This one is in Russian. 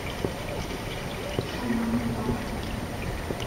шаман два